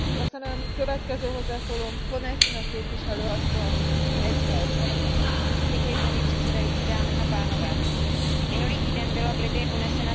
Minulý týden byla v Libyi unesena teroristy, pravděpodobně z Islámského státu, skupina asijských a evropských pracovníků. Provinili se především tím, že v této zemi pracovali.